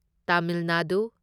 Tamil Nadu